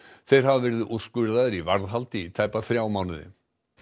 þeir hafa verið úrskurðaðir í varðhald í tæpa þrjá mánuði